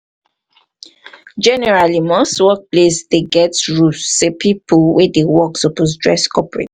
generally most workplace dey get rule sey pipo wey dey work suppose dress corprat